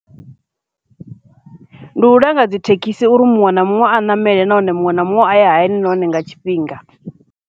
Ndi u langa dzi thekhisi uri muṅwe na muṅwe a ṋamele nahone muṅwe na muṅwe a ye hayani na hone nga tshifhinga.